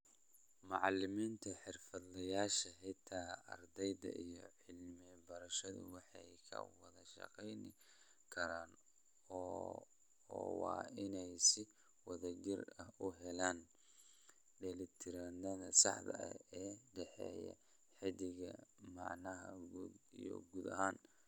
Macalimiinta, xirfadlayaasha, xitaa ardayda iyo cilmi-baarayaashu way ka wada shaqayn karaan oo waa inay si wadajir ah u helaan dheelitirnaanta saxda ah ee u dhexeeya qeexida macnaha guud iyo guud ahaan.